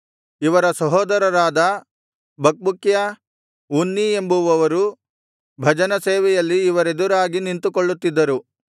ಇವರ ಸಹೋದರರಾದ Bakbukiah Unni ಎಂಬುವವರು ಭಜನಸೇವೆಯಲ್ಲಿ ಇವರೆದುರಾಗಿ ನಿಂತುಕೊಳ್ಳುತ್ತಿದ್ದರು